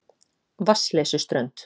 Vatnsleysuströnd